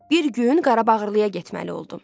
Bir gün Qarabağlıya getməli oldum.